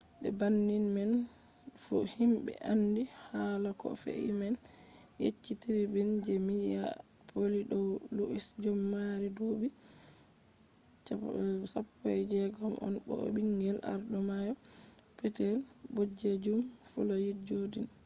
be banning man fu himɓe andi haala ko fe’i man yecci tribun je minyapolis dow luwis jodin mo mari duuɓi 16 on bo o ɓingel arɗo mayo petel ɓoɗejum floyid jodin